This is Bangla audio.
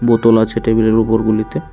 বোতল আছে টেবিলের উপর গুলিতে।